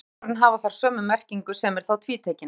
Bæði nafnorðin hafa þar sömu merkingu sem er þá tvítekin.